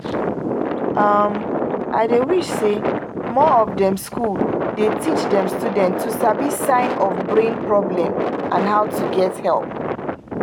um i dey wish say more of dem school dey teach dem student to sabi sign of brain problem and how to get help